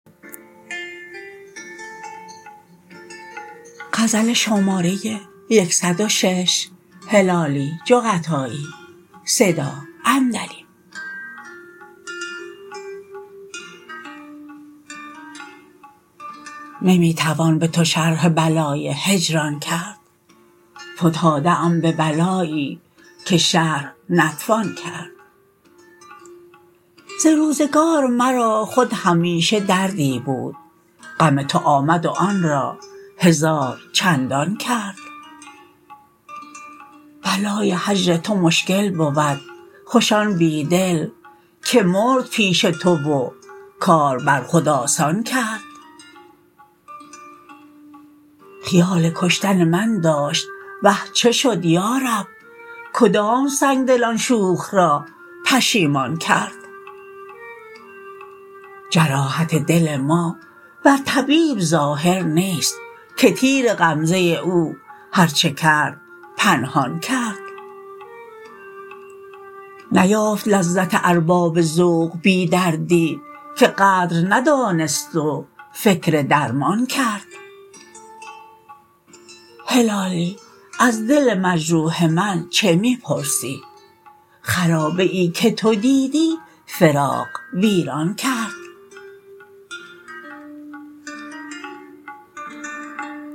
نمی توان به تو شرح بلای هجران کرد فتاده ام به بلایی که شرح نتوان کرد ز روزگار مرا خود همیشه دردی بود غم تو آمد و آن را هزار چندان کرد بلای هجر تو مشکل بود خوش آن بیدل که مرد پیش تو و کار بر خود آسان کرد خیال کشتن من داشت وه چه شد یارب کدام سنگدل آن شوخ را پشیمان کرد جراحت دل ما بر طبیب ظاهر نیست که تیر غمزه او هر چه کرد پنهان کرد نیافت لذت ارباب ذوق بی دردی که قدر درد ندانست و فکر درمان کرد هلالی از دل مجروح من چه می پرسی خرابه ای که تو دیدی فراق ویران کرد